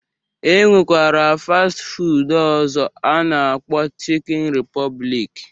E nwekwara fastị fuud ọzọ a na-akpọ chikin ripọblik